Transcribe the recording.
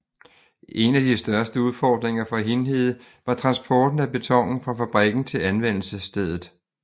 En af de største udfordringer for Hindhede var transporten af betonen fra fabrikken til anvendelsesstedet